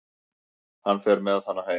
Hann fer með hana heim.